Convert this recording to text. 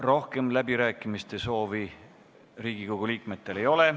Rohkem läbirääkimiste soovi Riigikogu liikmetel ei ole.